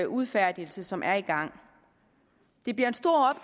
udfærdigelse som er i gang det bliver en stor